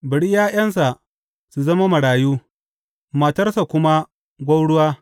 Bari ’ya’yansa su zama marayu matarsa kuma gwauruwa.